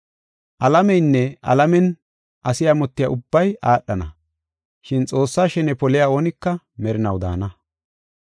Alameynne alamen asi amotiya ubbay aadhana, shin Xoossaa sheniya poliya oonika merinaw daana.